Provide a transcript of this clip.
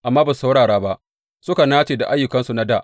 Amma ba su saurara ba, suka nace da ayyukansu na dā.